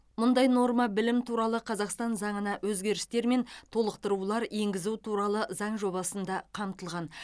мұндай норма білім туралы қазақстан заңына өзгерістер мен толықтырулар енгізу туралы заң жобасында қамтылған